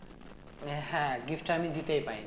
হ্যাঁ gift টা আমি দিতেই পাইনি